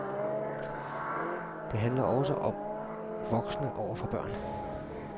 Det handler også om voksne over for børn.